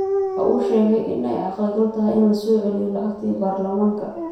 Waxa uu sheegay in ay caqli gal tahay in la soo celiyo lacagtii Baarlamaanka.